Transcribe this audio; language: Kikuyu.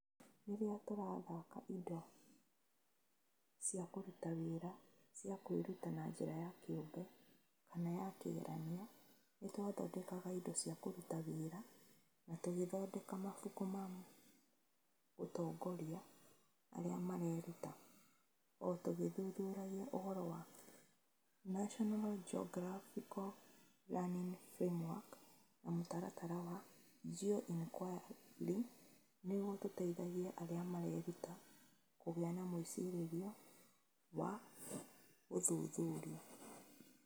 Rĩrĩa tũrathaaka indo cia kũruta wĩra cia kwĩruta na njĩra ya kĩũmbe kana ya kĩgeranio, nĩ twathondekire indo cia kũruta wĩra na tũgĩthondeka mabuku ma gũtongoria arĩa mareruta, o tũgĩthuthuria ũhoro wa National Geographical Learning Framework na mũtaratara wa Geo-Inquiry nĩguo tũteithie arĩa mareruta kũgĩa na mwĩcirĩrie wa gũthuthuria.